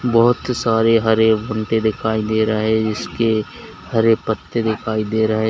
बहुत सारे हरे भुट्टे दिखाई दे रहे जिसके हरे पत्ते दिखाई दे रहे।